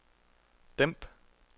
dæmp